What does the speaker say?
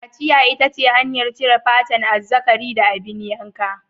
Kaciya ita ce hanyar cire fatan azzakari da abin yanka.